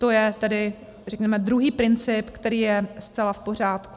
To je tedy řekněme druhý princip, který je zcela v pořádku.